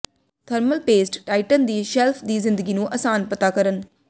thermal paste Titan ਦੀ shelf ਦੀ ਜ਼ਿੰਦਗੀ ਨੂੰ ਆਸਾਨ ਪਤਾ ਕਰਨ